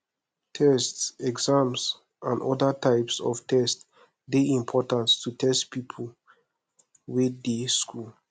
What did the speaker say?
tests exam and oda types of test dey important to test pipo wey dey school